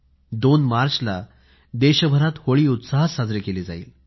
2 मार्चला देशभरात होळी उत्साहात साजरी केली जाईल